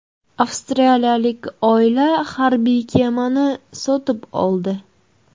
Avstraliyalik oila harbiy kemani sotib oldi.